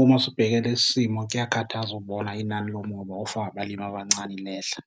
Uma sibheke lesi simo kuyakhathaza ukubona inani lomoba ofakwe abalimi abancane lehla.